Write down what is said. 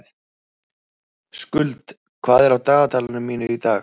Skuld, hvað er á dagatalinu mínu í dag?